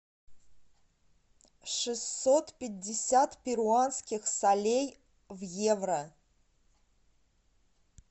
шестьсот пятьдесят перуанских солей в евро